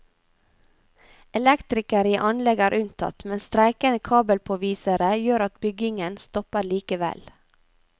Elektrikere i anlegg er unntatt, men streikende kabelpåvisere gjør at byggingen stopper likevel.